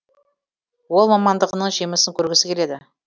ол мамандығының жемісін көргісі келеді